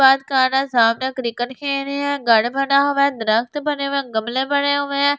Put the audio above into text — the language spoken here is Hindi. क्रिकेट खेल रहे है घर बना हुआ है बना हुआ है गमले पड़े हुए है ये भी।